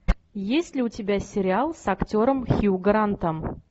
есть ли у тебя сериал с актером хью грантом